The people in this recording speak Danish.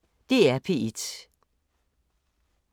DR P1